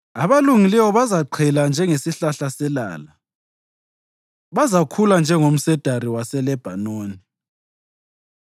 Abalungileyo bazaqhela njengesihlahla selala, bazakhula njengomsedari waseLebhanoni;